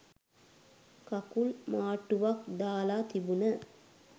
කකුල් මාට්ටුවක් දාල තිබුන.